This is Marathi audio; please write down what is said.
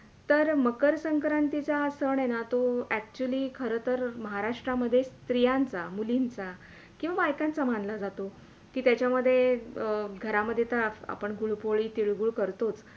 तर मकर संक्रातीचा हा सण आहे ना तो Actually खरं तर महाराष्ट्रामध्ये स्त्रियांचा, मुलींचा किवा बायकांचा मानला जातो ते त्याच्यामधे घरामध्ये तर आपण गुडपोळी तिळगूळ करतोच